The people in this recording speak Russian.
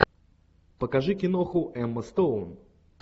покажи киноху эмма стоун